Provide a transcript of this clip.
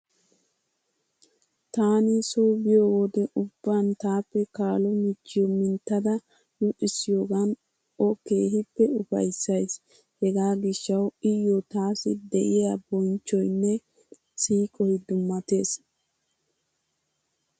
Taani soo biyo wude ubban taappe kaalo michchiyo minttada luxissiyogaan o keehippe ufayissayiis. Hegaa gishshawu iyyo taassi de'iya bonichchoyinne siiqoyi dummatees.